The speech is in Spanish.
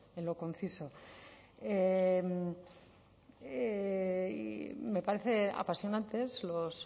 en lo conciso y me parecen apasionantes los